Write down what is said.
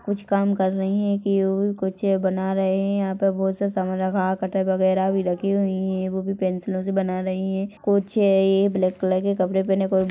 कुछ काम कर रही हैं कि युहीं कुछ बना रहे हैं यहाँ पर बहोत से सामान रखा कटर वगेरा भी रखी हुईं हैं वो भी पेंसिलओं से बना रही हैं कुछ ये ब्लैक कलर के कपड़े पहने कोई--